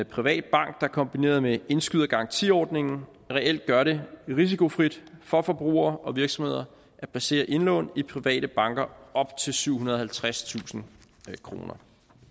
privat bank der kombineret med indskydergarantiordningen reelt gør det risikofrit for forbrugere og virksomheder at placere indlån i private banker op til syvhundrede og halvtredstusind kroner